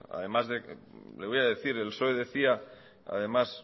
además le voy a decir el psoe decía además